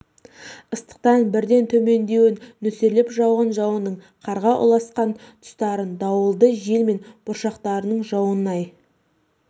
ыстықтан бірден төмендеуін нөсерлеп жауған жауынның қарға ұласқан тұстарын дауылды жел мен бұршақтың жаууын ай